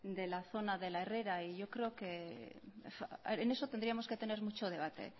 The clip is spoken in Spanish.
de la zona de la herrera y yo creo que en eso tendríamos que tener mucho debate